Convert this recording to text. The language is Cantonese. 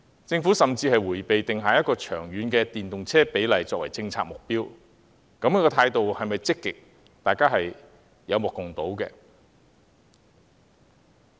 政府甚至迴避定下一個長遠的電動車比例作為政策目標，如此態度是否積極，大家有目共睹。